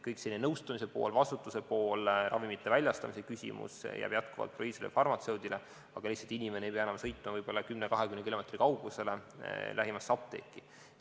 Kõik see nõustamise pool, vastutuse pool, ravimite väljastamise küsimus jms jääb jätkuvalt proviisorile või farmatseudile, aga lihtsalt inimene ei pea enam sõitma 10-20 kilomeetri kaugusele lähimasse apteeki.